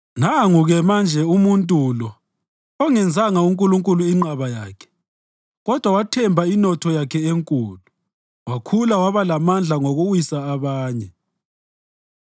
“Nangu-ke manje umuntu lo ongenzanga uNkulunkulu inqaba yakhe kodwa wathemba inotho yakhe enkulu wakhula waba lamandla ngokuwisa abanye!”